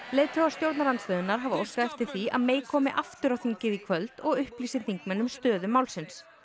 leiðtogar stjórnarandstöðunnar hafa óskað eftir því að komi aftur á þingið í kvöld og upplýsi þingmenn um stöðu málsins